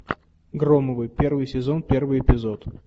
громовы первый сезон первый эпизод